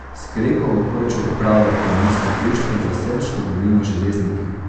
S Krekovo kočo upravlja Planinsko društvo za Selško dolino Železniki.